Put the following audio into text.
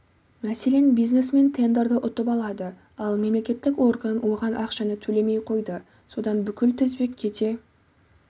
мәселен бизнесмен тендерді ұтып алады ал мемлекеттік орган оған ақшаны төлемей қойды содан бүкіл тізбек кете